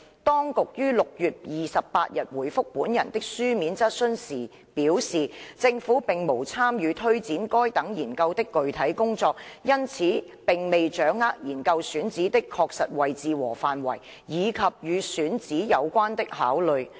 當局於6月28日回覆本人的書面質詢時表示，政府並無參與推展該等研究的具體工作，因此並未掌握研究選址的確實位置和範圍，以及與選址有關的考慮。